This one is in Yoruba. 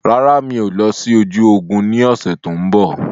Rárá, mi ò lọ sí ojú ogún ni ọ̀sẹ̀ tòun bọ̀.